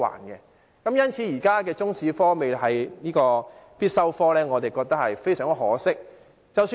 因此，對於現時中史科並非必修科，我們覺得非常可惜。